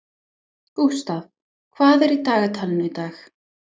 Gústaf, hvað er í dagatalinu í dag?